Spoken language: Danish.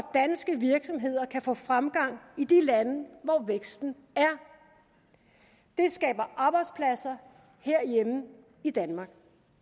danske virksomheder kan få fremgang i de lande hvor væksten er det skaber arbejdspladser herhjemme i danmark